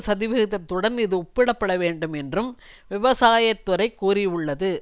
சதவிகிதத்துடன் இது ஒப்பிடப்பட வேண்டும் என்றும் விவசாய துறை கூறியுள்ளது